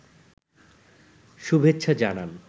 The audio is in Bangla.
শুভেচ্ছা জানান